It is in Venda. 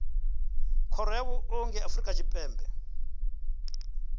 khoro ya vhuongi ya afrika tshipembe